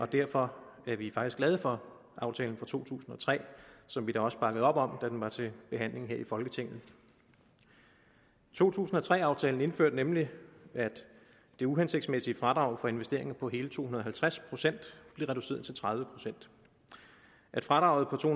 derfor er vi faktisk glade for aftalen fra to tusind og tre som vi da også bakkede op om da den var til behandling her i folketinget to tusind og tre aftalen indførte nemlig at det uhensigtsmæssige fradrag for investeringer på hele to hundrede og halvtreds procent blev reduceret til tredive procent at fradraget på to